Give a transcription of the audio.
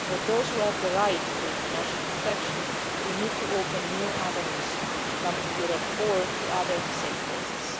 So for those who have the right to international protection we need to open new avenues to come to Europe or other safe places.